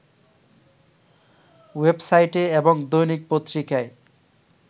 ওয়েবসাইটে এবং দৈনিক পত্রিকায়